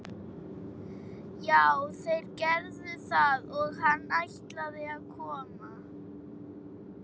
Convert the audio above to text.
Já, þeir gerðu það og hann ætlaði að koma.